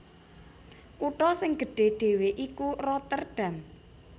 Kutha sing gedhé dhéwé iku Rotterdam